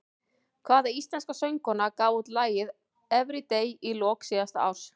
Hvaða íslenska söngkona gaf út lagið Everyday í lok síðasta árs?